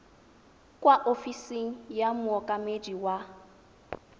kwa ofising ya mookamedi wa